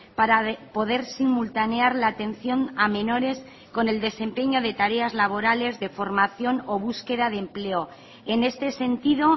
para poder simultanear la atención a menores con el desempeño de tareas laborales de formación o búsqueda de empleo en este sentido